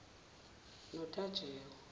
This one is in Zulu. notajewa